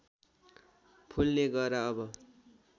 फुल्ने गह्रा अब